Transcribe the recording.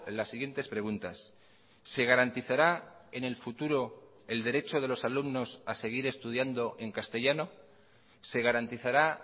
las siguientes preguntas se garantizará en el futuro el derecho de los alumnos a seguir estudiando en castellano se garantizará